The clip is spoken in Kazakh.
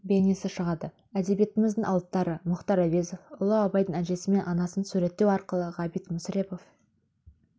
бейнесі шығады әдебиетіміздің алыптары мұхтар әуезов ұлы абайдың әжесі мен анасын суреттеу арқылы ғабит мүсірепов